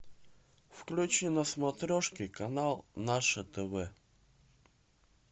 включи на смотрешке канал наше тв